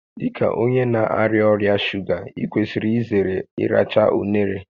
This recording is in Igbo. Dị ka onye na-arịa ọrịa shuga, ị kwesịrị izere ịracha unere